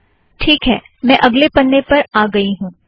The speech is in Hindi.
ठीक है मैं अगले पन्ने पर आ गई हूँ